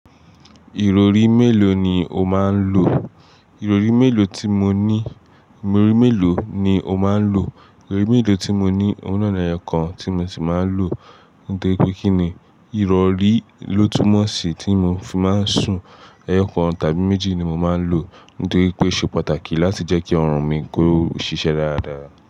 Ìrọ̀rí mélòó ni o máa ń lò? Ìrọ̀rí mélòó tí mo ní, Ìrọ̀rí mélòó ni o máa ń lò? Ìrọ̀rí mélòó tí mo ní, òun náà ni ẹyọkàn tí mo sì máa ń lò, nítorí pé kíni ìrọ̀rí ló túmọ̀ sí tí mo fi máa ń sùn. Ẹyọkàn tàbí méjì ni mo máa ń lò, nítorí pé ó ṣe pàtàkì láti jẹ́ kí ọrùn mi kó ṣiṣẹ́ dáradára.